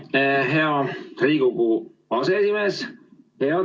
Aitüma, hea Riigikogu aseesimees!